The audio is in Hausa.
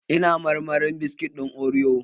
Ina marmarin biskit ɗin oriyo